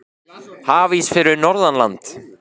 Hafís fyrir norðan land